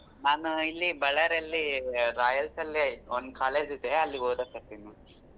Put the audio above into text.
ನಾನು ಇಲ್ಲಿ Bellary ಯಲ್ಲಿ ಲ್ಲಿ ಒಂದ್ college ಇದೆ ಅಲ್ಲಿ ಓದಕತ್ತಿನ್ ನಾನ್.